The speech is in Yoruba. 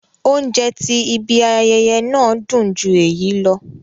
Óunjẹ ti ìbi àyẹyẹ náà dun ju éyi lọ